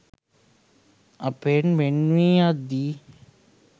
අපෙන් වෙන් වී යද්දී